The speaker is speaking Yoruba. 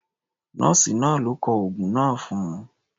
Nọ́ọ̀sì náà ló kọ oògun náà fún un.